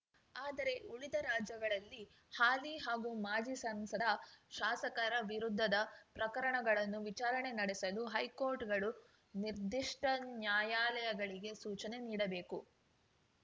ಆದರೆ ಉಳಿದ ರಾಜ್ಯಗಳಲ್ಲಿ ಹಾಲಿ ಹಾಗೂ ಮಾಜಿ ಸಂಸದ ಶಾಸಕರ ವಿರುದ್ಧದ ಪ್ರಕರಣಗಳನ್ನು ವಿಚಾರಣೆ ನಡೆಸಲು ಹೈಕೋರ್ಟ್‌ಗಳು ನಿರ್ದಿಷ್ಟನ್ಯಾಯಾಲಯಗಳಿಗೆ ಸೂಚನೆ ನೀಡಬೇಕು